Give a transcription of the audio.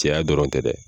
Cɛya dɔrɔn tɛ dɛ